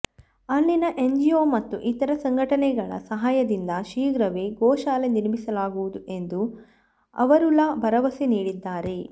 ಅಲ್ಲಿನ ಎನ್ಜಿಒ ಮತ್ತು ಇತರ ಸಂಘಟನೆಗಳ ಸಹಾಯದಿಂದ ಶೀಘ್ರವೇ ಗೋಶಾಲೆ ನಿರ್ಮಿಸಲಾಗುವುದು ಎಂದು ಅವರುಲ ಭರವಸೆ ನೀಡಿದ್ದಾರೆ